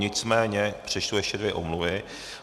Nicméně přečtu ještě dvě omluvy.